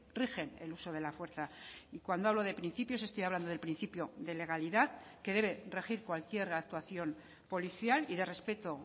rigen el uso de la fuerza y cuando hablo de principios estoy hablando del principio de legalidad que debe regir cualquier actuación policial y de respeto